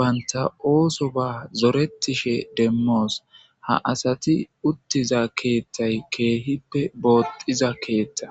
bantta osoba zoretishshe dizayissa demos ha asati utida keththey kehippe lo"iza keeththa